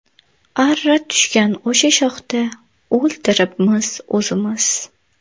Arra tushgan o‘sha shoxda O‘ltiribmiz o‘zimiz.